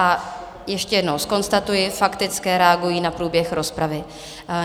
A ještě jednou zkonstatuji - faktické reagují na průběh rozpravy.